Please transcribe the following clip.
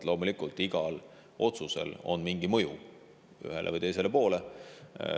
Loomulikult, igal otsusel on mingi mõju ühele või teisele poole.